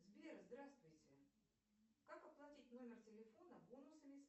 сбер здравствуйте как оплатить номер телефона бонусами